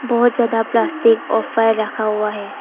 बहुत ज्यादा प्लास्टिक और फाइल रखा हुआ है।